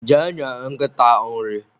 jee nye nkịta nri!